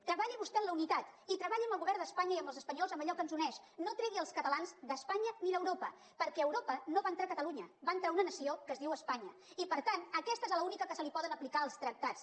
treballi vostè en la unitat i treballi amb el govern d’espanya i amb els espanyols en allò que ens uneix no tregui els catalans d’espanya ni d’europa perquè a europa no va entrar catalunya va entrar una nació que es dui espanya i per tant aquesta és l’única que se li poden aplicar els tractats